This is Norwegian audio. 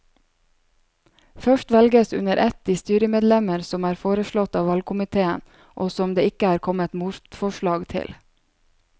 Først velges under ett de styremedlemmer som er foreslått av valgkomiteen og som det ikke er kommet motforslag til.